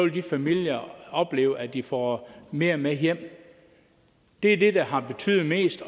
de familier opleve at de får mere med hjem det er det der har betydet mest